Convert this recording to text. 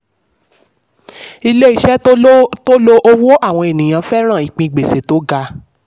ilé-iṣẹ́ tó lo owó àwọn ènìyàn fẹ́ràn ìpín gbèsè tó ga.